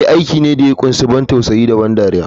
Eh aiki ne da ya kunshi ban tausayi da ban dariya.